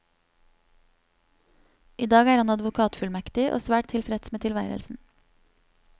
I dag er han advokatfullmektig, og svært tilfreds med tilværelsen.